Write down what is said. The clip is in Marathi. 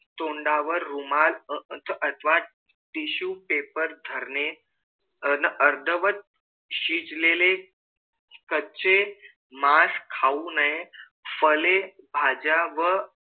तोंडावर रुमाल अथवा tissue paper धरणे आणि अर्धवट शिजलेले कच्चे मास खाऊ नये फळे भाज्या व